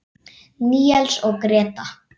Níels og Gréta.